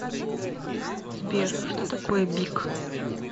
сбер что такое бик